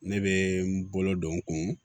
Ne bɛ n bolo don n kun